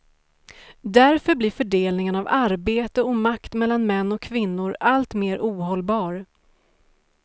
Därför blir fördelningen av arbete och makt mellan män och kvinnor allt mer ohållbar.